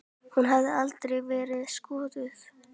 Hún hefur aldrei verið skoðuð.